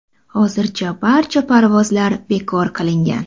Hozircha barcha parvozlar bekor qilingan.